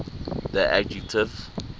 the adjective